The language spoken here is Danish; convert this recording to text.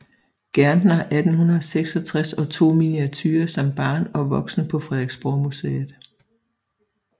Gertner 1866 og to miniaturer som barn og voksen på Frederiksborgmuseet